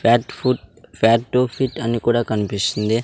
Fat foot fat to fit అని కూడా కనిపిస్తుంది.